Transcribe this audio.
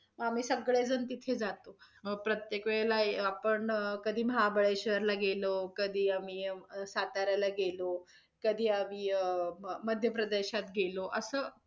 आम्ही सगळे जण तिथे जातो अं प्रत्येक वेळेला आपण कधी महाबळेश्वर ला गेला, कधी आम्ही साताऱ्याला गेलो, कधी आम्ही अं मध्यप्रदेशात गेलो. असं